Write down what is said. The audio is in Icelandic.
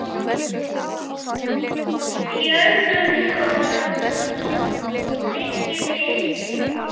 Fjöldi umsókna liggi fyrir.